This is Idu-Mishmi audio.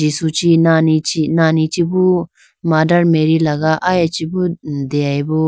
Jisu chee nani chibo mothermarry laga aya chibo deyayibo.